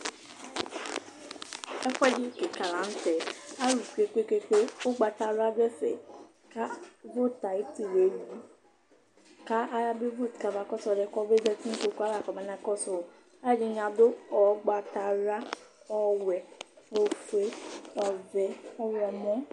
Ɛfʋɛdɩ kɩka la nʋ tɛ, alʋ tsue kpe-kpe-kpe Ʋgbatawla dʋ ɛfɛ kʋ vot ayʋ ɩtɩ la eyui kʋ ayabevot kamakɔsʋ ɔlʋ yɛ kɔbezati nʋ kpoku yɛ ava kɔbanakɔsʋ wʋ Alʋɛdɩnɩ adʋ ʋgbatawla, ɔwɛ, ofue, ɔvɛ, ɔɣlɔmɔ